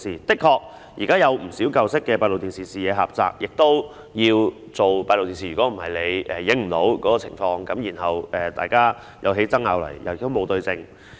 的確，現時有不少舊式閉路電視的視野狹窄，也有需要安裝閉路電視，否則不能攝錄有關情況，當大家有爭拗時便無法對證。